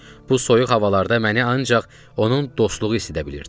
Bu soyuq havalarda məni ancaq onun dostluğu isidə bilirdi.